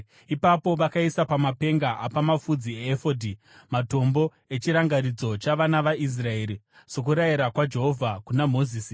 Ipapo vakaisa pamapenga apamapfudzi eefodhi matombo echirangaridzo chavana vaIsraeri sokurayira kwaJehovha kuna Mozisi.